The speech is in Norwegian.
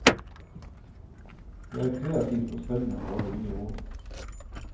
Det er kreativt og spennende å lage nye ord.